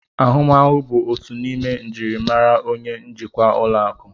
Ahụmahụ bụ otu n'ime njirimara onye njikwa ụlọ akụ